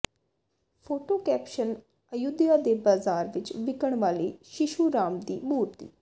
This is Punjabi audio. ਫੋਟੋ ਕੈਪਸ਼ਨ ਅਯੁੱਧਿਆ ਦੇ ਬਾਜ਼ਾਰ ਵਿੱਚ ਵਿਕਣ ਵਾਲੀ ਸ਼ਿਸ਼ੂ ਰਾਮ ਦੀ ਮੂਰਤੀ